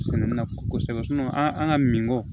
Sɛnɛ kɔsɛbɛ an ka min bɔ